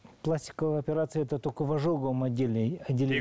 пластиковая операция это только в ожоговом отделении